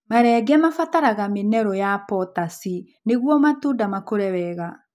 Marenge mabataraga minerũ ya potasi nĩguo matunda makũre wega.